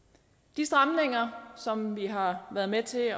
de stramninger som vi har været med til